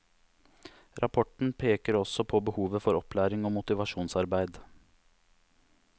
Rapporten peker også på behovet for opplæring og motivasjonsarbeid.